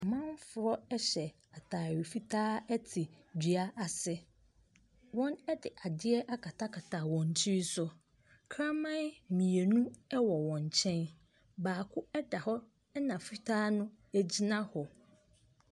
Amanfoɔ ɛhyɛ ataare fitaa ɛte dua ase. Wɔn ɛde adeɛ akatakata wɔn tiri so. Kraman mmienu ɛwɔ wɔn nkyɛn, baako ɛda hɔ ɛna fitaa no egyina hɔ.